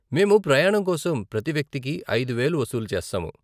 మేము ప్రయాణం కోసం ప్రతి వ్యక్తికి ఐదు వేలు వసూలు చేస్తాము.